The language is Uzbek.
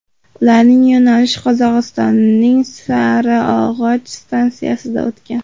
Ularning yo‘nalishi Qozog‘istonning Sariog‘och stansiyasidan o‘tgan.